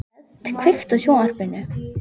Lisbeth, kveiktu á sjónvarpinu.